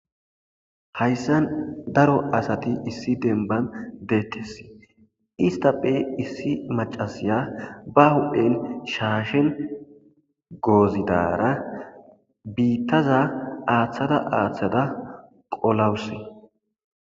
Haysan Dario asay demba bolla uttides issitappe issi mac'ashaya ba huphen shashen gozidara bitaza athada athada qolawus